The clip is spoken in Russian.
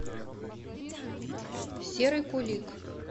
серый кулик